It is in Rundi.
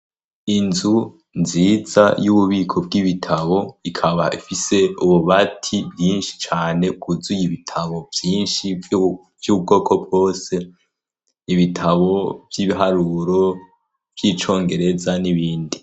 Inzu nziza y'ububiko bw'ibitabo, ikaba ifise ububati bwinshi cane bwuzuye ibitabo vyinshi vy'ubwoko bwose: ibitabo vy'ibiharuro, vy'icongereza n'ibindi.